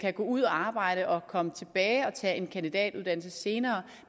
gå ud og arbejde og komme tilbage og tage en kandidatuddannelse senere